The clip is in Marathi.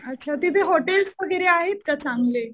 अच्छा. तिथे हॉटेल्स वगैरे आहेत का चांगले?